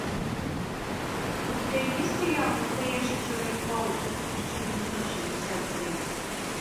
у тебя есть сериал настоящий человек паук тысяча девятьсот шестьдесят семь